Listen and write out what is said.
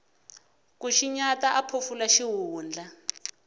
ku xinyata a phofula xihundla